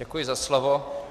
Děkuji za slovo.